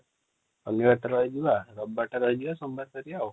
ଶନିବାର ଟା ରହିଯିବା ରବିବାର ଟା ରହିଯିବା ସୋମବାର ଫହଏରିବା |